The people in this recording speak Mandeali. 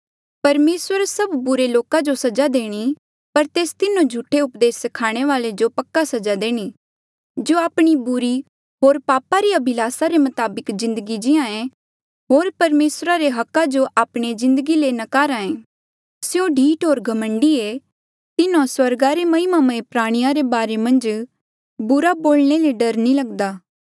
परमेसर सभ बुरे लोका जो सजा देणी पर तेस तिन्हो झूठे उपदेस स्खाणे वाले जो पक्का सजा देणी जो आपणे बुरी होर पापा री अभिलासा रे मताबक जिन्दगी जीये होर परमेसरा रे हका जो आपणे जिन्दगी ले नकारा ऐें स्यों ढीठ होर घमंडी ऐें तिन्हो स्वर्गा रे महिमामय प्राणिया रे बारे मन्झ बुरा बोलणे ले डर नी लगदा